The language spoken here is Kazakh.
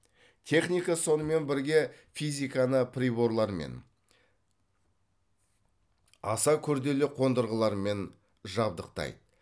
техника сонымен бірге физиканы приборлармен аса күрделі қондырғылармен жабдықтайды